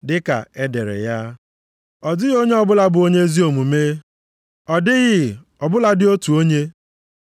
Dịka e dere ya, “Ọ dịghị onye ọbụla bụ onye ezi omume, ọ dịghị ọ bụladị otu onye.